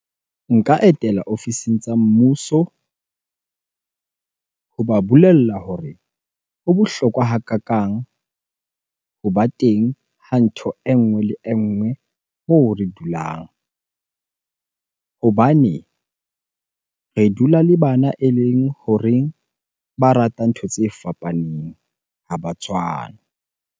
Nka etela ofising tsa mmuso hoba bolella hore ho bohlokwa hakakang hoba teng ho ntho e nngwe le e nngwe moo re dulang. Hobane re dula le bana eleng horeng ba rata ntho tse fapaneng, ha ba tshwane.